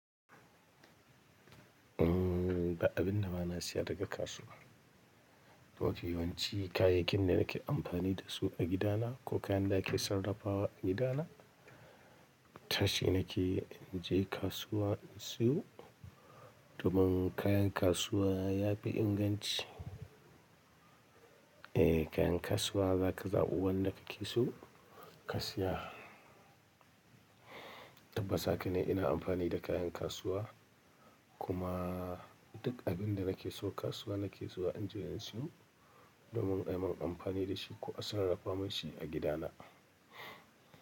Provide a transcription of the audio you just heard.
Umm, ba abin na bana siya daga kasuwa. Wake yawanci kayakin da nake amfani dasu a gida na ko kayan da nake sarrafawa a gida na, tashi nake inje kasuwa in siyo. Domin kayan kasuwa yafi inganci. Eh kayan kasuwa zaka zaɓi wanda kake so ka siya. Tabbas haka ne ina amfani da kayan kasuwa kuma duk abinda nake so kasuwa nake so inje in siyo. Domin ai man amfani dashi ko a sarrafa mashi a gida na.